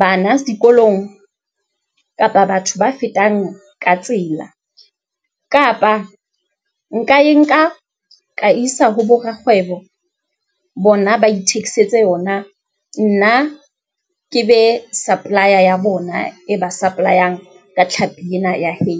bana dikolong kapa batho ba fetang ka tsela kapa nka e nka ka isa ho bo rakgwebo, bona ba ithekisetse yona, nna ke be supply-a ya bona e ba supply-ang ka tlhapi ena ya hake.